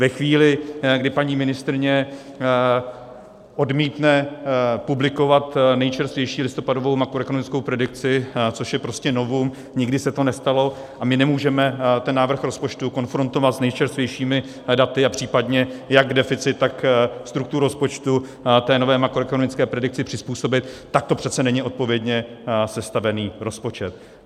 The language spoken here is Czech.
Ve chvíli, kdy paní ministryně odmítne publikovat nejčerstvější listopadovou makroekonomickou predikci, což je prostě novum, nikdy se to nestalo, a my nemůžeme ten návrh rozpočtu konfrontovat s nejčerstvějšími daty a případně, jak deficit, tak strukturu rozpočtu té nové makroekonomické predikci přizpůsobit, tak to přece není odpovědně sestavený rozpočet.